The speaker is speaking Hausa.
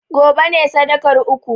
gobe ne sadakar uku!